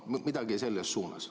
Midagi selles suunas.